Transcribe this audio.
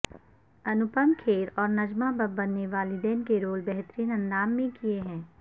انوپم کھیر اور نجمہ ببر نے والدین کے رول بہترین اندام میں کیے ہیں